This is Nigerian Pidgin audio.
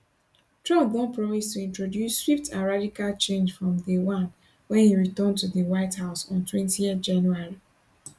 trump don promise to introduce swift and radical change from day one wen e return to di white house ontwentyjanuary